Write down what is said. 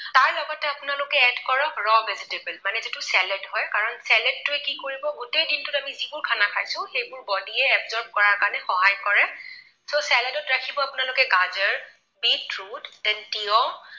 Add কৰক raw vegetable মানে যিটো চালাদ হয়, কাৰণ চালাদটোৱে কি কৰিব গোটেই দিনটোত আমি যিবোৰ খানা খাইছো সেইবোৰ body য়ে absorb কৰাৰ কাৰণে সহায় কৰে। so চালাদত ৰাখিব আপোনালোকে গাজৰ, beat root তিয়ঁহ